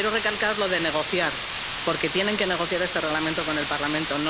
Y quiero recalcar lo de negociar, porque tienen que negociar este Reglamento con el Parlamento.